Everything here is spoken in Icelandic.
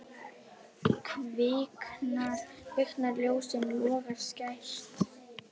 Kviknar ljós, logar skært.